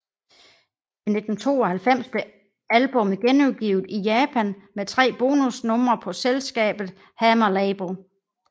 I 1992 blev albummet genudgivet i Japan med tre bonus numre på selskabet Hammer Label